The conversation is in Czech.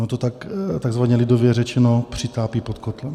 Ono to takzvaně lidově řečeno přitápí pod kotlem.